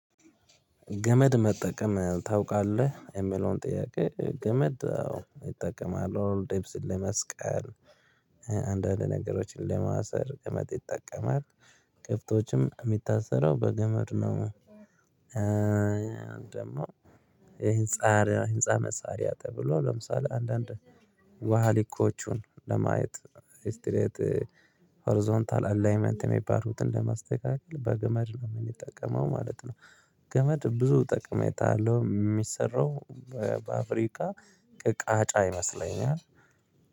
ገመድ መጠቀም ታውቃለህ የሚለውን ጥያቄ ገመድ አዎ እጠቀማለሁ ልብስ ለመስቀል። አንዳንድ ነገሮችን ለማሰር ገመድ ይጠቀማል ከብቶችም የሚታሰረው በገመድ ነው። ደግሞ ይሄ ህንፃ ህንፃ መሳሪያ ተብሎ ለምሳሌ አንዳንድ ዋሃሊኮቹን ለማየት ኢስቲሬት ሆሪዞንታል አላይመንት የሚባሉትን ለማስተካከል በገመድ ነው የሚጠቀመው ማለት ነው። ገመድ ብዙ ጥቅም አለው የሚሰራው። በአፍሪካ ቅቃጫ ይመስለኛል